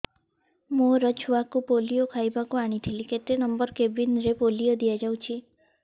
ମୋର ଛୁଆକୁ ପୋଲିଓ ଖୁଆଇବାକୁ ଆଣିଥିଲି କେତେ ନମ୍ବର କେବିନ ରେ ପୋଲିଓ ଦିଆଯାଉଛି